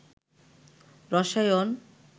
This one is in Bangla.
রসায়ন